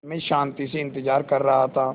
मैं शान्ति से इंतज़ार कर रहा था